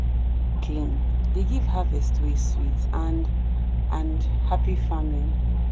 soil wey clean dey give harvest wey sweet and and happy farming.